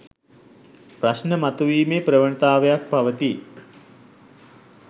ප්‍රශ්න මතුවීමේ ප්‍රවණතාවක් පවතී.